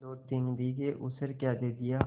दोतीन बीघे ऊसर क्या दे दिया